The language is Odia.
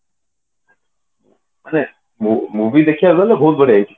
ମାନେ movie ଦେଖିବାକୁ ଗଲେ ବହୁତ ବଢିଆ ହେଇଛି